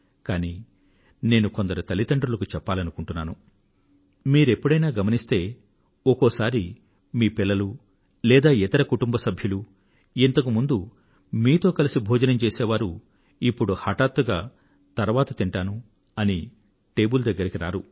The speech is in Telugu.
కానీ నేను కొందరు తల్లితండ్రులకు చెప్పాలనుకుంటున్నాను మీరు ఎప్పుడైనా గమనిస్తే ఒకోసారి మీ పిల్లలు లేదా ఇతర కుటుంబ సభ్యులు ఇంతకు ముందు మీతో కలసి భోజనం చేసే వారు ఇప్పుడు హఠాత్తుగా తరువాత తింటాను అని టేబుల్ దగ్గరకు రారు